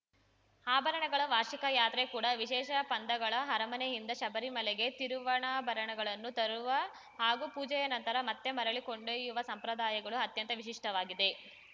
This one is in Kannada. ಆಭರಣಗಳ ವಾರ್ಷಿಕ ಯಾತ್ರೆ ಕೂಡ ವಿಶೇಷ ಪಂದಗಳ ಅರಮನೆಯಿಂದ ಶಬರಿಮಲೆಗೆ ತಿರುವಣಾಭರಣಗಳನ್ನು ತರುವ ಹಾಗೂ ಪೂಜೆಯ ನಂತರ ಮತ್ತೆ ಮರಳಿ ಕೊಂಡೊಯ್ಯುವ ಸಂಪ್ರದಾಯಗಳು ಅತ್ಯಂತ ವಿಶಿಷ್ಟವಾಗಿದೆ